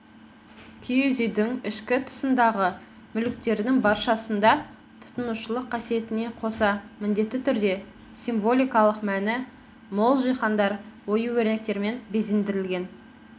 киіз үйдің ішкі тысындағы мүліктердің баршасында тұтынушылық қасиетіне қоса міндетті түрде символикалық мәні мол жиһаздар ою өрнектермен безендірілген